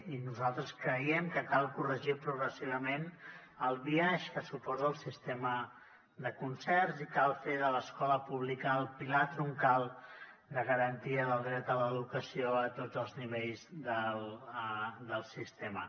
i nosaltres creiem que cal corregir progressivament el biaix que suposa el sistema de concerts i cal fer de l’escola pública el pilar troncal de garantia del dret a l’educació a tots els nivells del sistema